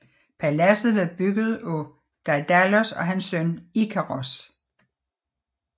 Paladset var bygget af Daidalos og hans søn Ikaros